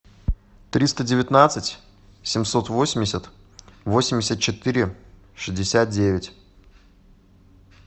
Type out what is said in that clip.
триста девятнадцать семьсот восемьдесят восемьдесят четыре шестьдесят девять